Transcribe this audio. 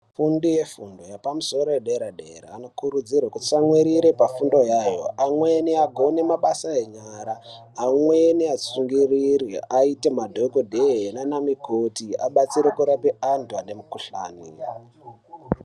Afundi e fundo yepa musoro ye dera dera ano kurudzirwe atsamwirire pa fundo yayo amweni agone mabasa enyara amweni shingirire aite madhokodheya nana mukoti abatsire kurapa antu ane mu kuhlani.